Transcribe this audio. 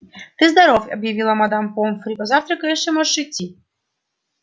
ты здоров объявила мадам помфри позавтракаешь и можешь идти